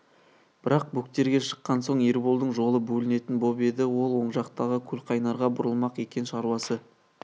бірақ бөктерге шыққан соң ерболдың жолы бөлінетін боп еді ол оң жақтағы көлқайнарға бұрылмақ екен шаруасы